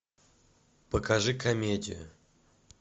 покажи комедию